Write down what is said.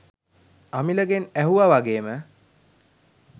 අමිලගෙන් ඇහුවා වගේම